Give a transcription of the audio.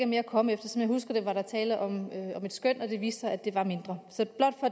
mere at komme efter som jeg husker det var der tale om et skøn og det viste sig at det var mindre